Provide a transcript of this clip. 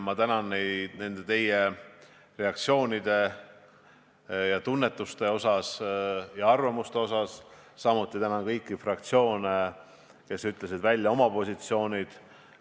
Ma tänan teid teie reaktsioonide, tunnetuste ja arvamuste eest, samuti tänan kõiki fraktsioone, kes ütlesid välja oma positsioonid.